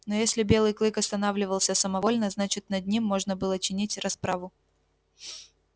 но если белый клык останавливался самовольно значит над ним можно было чинить расправу